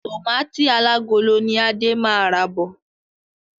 Tọmatì alágolo ni Adé máa ra bọ̀.